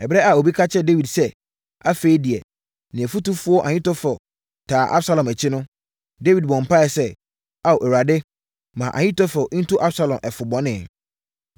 Ɛberɛ a obi ka kyerɛɛ Dawid sɛ, afei deɛ ne ɔfotufoɔ Ahitofel taa Absalom akyi no, Dawid bɔɔ mpaeɛ sɛ, “Ao Awurade, ma Ahitofel ntu Absalom ɛfo bɔne!”